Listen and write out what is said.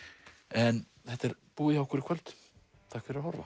en þetta er búið hjá okkur í kvöld takk fyrir að horfa